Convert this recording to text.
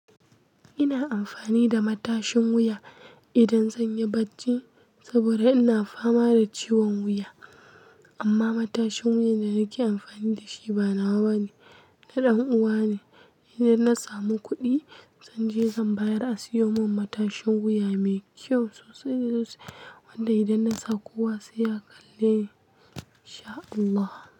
Ina amfani da matashin wuya idan zan yi bacci saboda ina fama da ciwon wuya. Amma matashin wuya da nake amfani da shi ba nawa ba ne, na ɗan uwa ne. Idan na samu kuɗi zan je zan bayar a siyo min matashin wuya mai kyau sosai wanda idan na sa kowa sai ya kalle. InSha Allah.